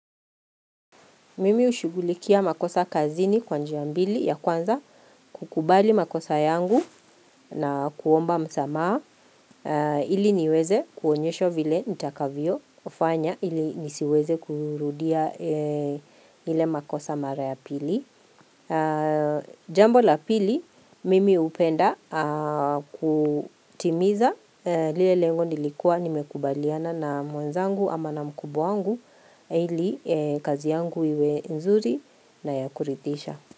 Mimi ushugulikia makosa kazini kwanji a mbili ya kwanza kukubali makosa yangu na kuomba msamaa ili niweze kuonyeshwa vile nitakavyo fanya ili nisiweze kurudia ile makosa mara ya pili. Jambo la pili mimi hupenda kutimiza lile lengo nilikuwa nimekubaliana na mwenzangu ama na mkubwawangu ili kazi yangu iwe nzuri na ya kurithisha.